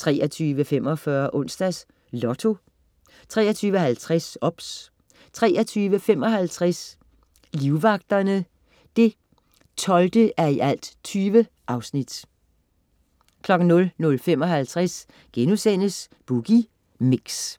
23.45 Onsdags Lotto 23.50 OBS 23.55 Livvagterne 12:20 00.55 Boogie Mix*